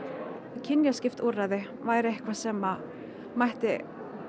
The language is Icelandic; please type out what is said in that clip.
kynjaskipt úrræði væri eitthvað sem mætti